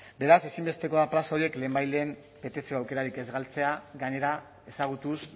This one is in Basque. beraz ezinbestekoa da plaza horiek lehenbailehen betetzeko aukerarik ez galtzea gainera ezagutuz